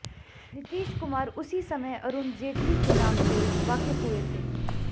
नीतीश कुमार उसी समय अरुण जेटली के नाम से वाकिफ हुए थे